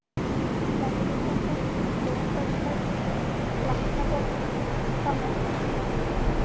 Neðri-Stallar, Lónfellslækur, Flatnaborg, Hvannárfell